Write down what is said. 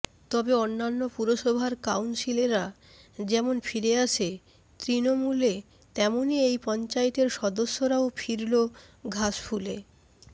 তবে অন্যান্য পুরসভার কাউন্সিলররা যেমন ফিরে আসে তৃণমূলে তেমনই এই পঞ্চায়েতের সদস্যরাও ফিরল ঘাসফুলে